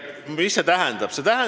Mis see tähendab?